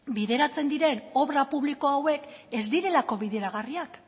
bideratzen diren obra publiko hauek ez direlako bideragarriak